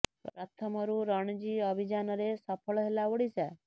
ପ୍ରଥମ ରୁ ରଣଜୀ ଅଭିଯାନ ରେ ସଫଳ ହେଲା ଓଡିଶା